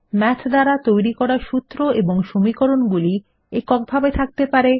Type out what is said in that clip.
math দ্বারা তৈরী করা সূত্র এবং সমীকরণ গুলি এককভাবে থাকতে পারে